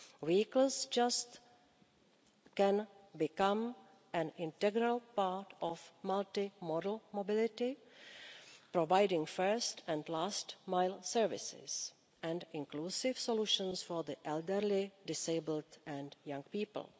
Vehicles can become an integral part of multi model mobility, providing first and last mile services and inclusive solutions for the elderly, the disabled and young people.